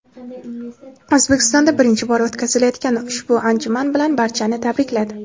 O‘zbekistonda birinchi bor o‘tkazilayotgan ushbu anjuman bilan barchani tabrikladi.